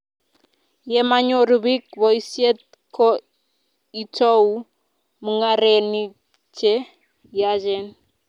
ye manyoru biik boisiet ko itou mung'arenik che yachen